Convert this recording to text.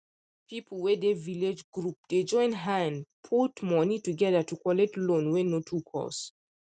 people wey dey village group dey join hand put money together to collect loan wey no too cost